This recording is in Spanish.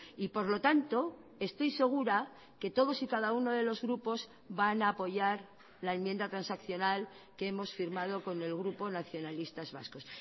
y por lo tanto estoy segura que todos y cada uno de los grupos van a apoyar la enmienda transaccional que hemos firmado con el grupo nacionalistas vascos